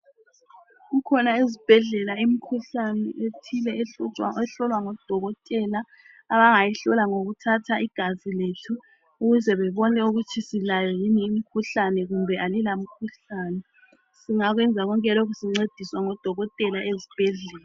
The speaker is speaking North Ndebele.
Kukhona ezibhedlela imkhuhlane ethile ehlutshwa ehlowa ngodokotela, abangayihlola ngokuthatha igazi lethu, ukuze bebone ukuthi silayo yini imikhuhlane kumbe alila mikhuhlane. Singakwenza konke lokhu sincediswa ngodokotela ezibhedlela.